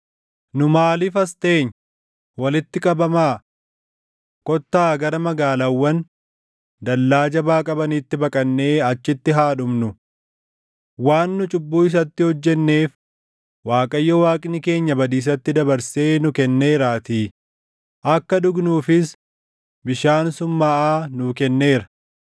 Nu maaliif as teenya? Walitti qabamaa! Kottaa gara magaalaawwan dallaa jabaa qabaniitti baqannee achitti haa dhumnu! Waan nu cubbuu isatti hojjenneef Waaqayyo Waaqni keenya badiisatti // dabarsee nu kenneeraatii; akka dhugnuufis bishaan summaaʼaa nuu kenneera.